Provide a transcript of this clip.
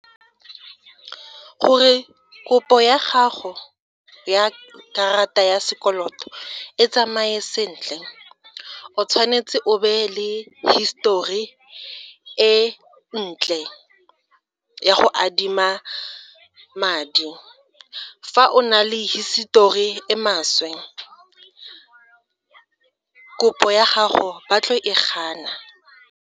Gore kopo ya gago ya karata ya sekoloto e tsamaye sentle o tshwanetse o be le hisitori e ntle ya go adima madi, fa o na le hisitori e maswe kopo ya gago ba tlo e gana.